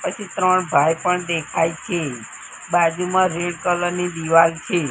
પછી ત્રણ ભાઈ પણ દેખાય છે બાજુમાં રેડ કલર ની દીવાલ છે.